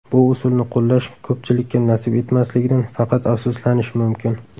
Bu usulni qo‘llash ko‘pchilikka nasib etmasligidan faqat afsuslanish mumkin.